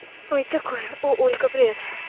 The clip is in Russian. ой такое о альгамбре